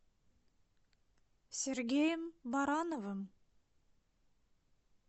сергеем барановым